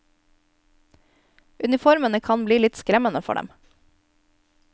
Uniformene kan bli litt skremmende for dem.